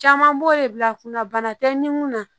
Caman b'o de bila kunna bana tɛ ni mun na